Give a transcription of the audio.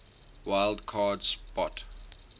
wild card spot